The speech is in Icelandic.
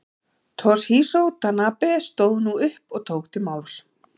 Toshizo Tanabe stóð nú upp og tók til máls.